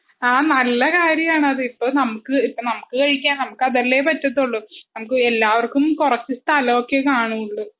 ആ നല്ലകര്യായാണത് ഇപ്പൊ നമുക്ക് ഇപ്പൊ നമുക്ക് കഴിക്കാൻ നമുക്കതല്ലെ പറ്റതുള്ളു. നമുക്ക് എല്ലാവർക്കും കുറച്ചു സ്ഥലാവോക്കയെ കാണുവോള്ളൂ.